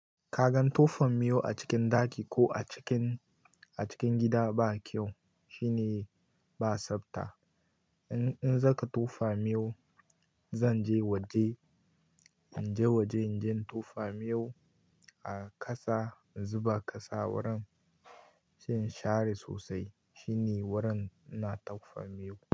Ka gan tofa miyau a cikin ɗaki ko a cikin, a cikin gida ba kyau. Shine ba tsabta. In in zaka tofa miyau, zan je waje, in je waje in je in tofa miyau a ƙasa, in zuba ƙasa wurin, sai in share sosai. Shi ne wurin ina tofa miyau.